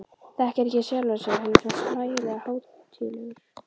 Þekkir ekki sjálfan sig, hann er svo hlægilega hátíðlegur.